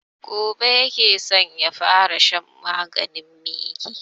Gobe ya ke so ya fara shan maganin miki